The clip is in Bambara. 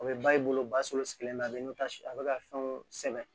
O bɛ ba i bolo basolo sigilen bɛ a bɛ taa a bɛ ka fɛnw sɛgɛn